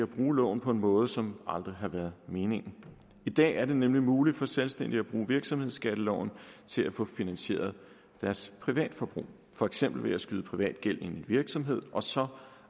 bruge loven på en måde som aldrig har været meningen i dag er det nemlig muligt for selvstændige at bruge virksomhedsskatteloven til at få finansieret deres privatforbrug for eksempel ved at skyde privat gæld ind i en virksomhed og så